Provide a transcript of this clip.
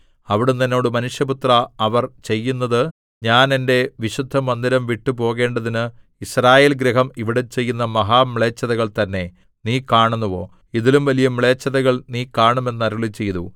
അവിടുന്ന് എന്നോട് മനുഷ്യപുത്രാ അവർ ചെയ്യുന്നത് ഞാൻ എന്റെ വിശുദ്ധമന്ദിരം വിട്ടു പോകേണ്ടതിന് യിസ്രായേൽഗൃഹം ഇവിടെ ചെയ്യുന്ന മഹാമ്ലേച്ഛതകൾ തന്നെ നീ കാണുന്നുവോ ഇതിലും വലിയ മ്ലേച്ഛതകൾ നീ കാണും എന്ന് അരുളിച്ചെയ്തു